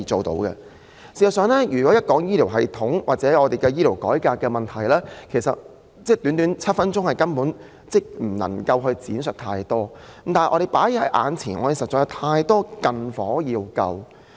事實上，對於醫療系統或醫療改革的問題，我實在難以在短短7分鐘的發言時間作全面闡述，但目前確實有太多"近火"需要撲滅。